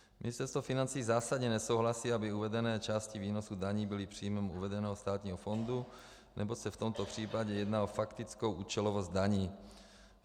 Ministerstvo financí zásadně nesouhlasí, aby uvedené části výnosu daní byly příjmem uvedeného státního fondu, neboť se v tomto případě jedná o faktickou účelovost daní.